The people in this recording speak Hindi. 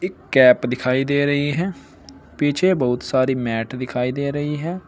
कैप दिखाई दे रही है पीछे बहुत सारी मैट दिखाई दे रही है।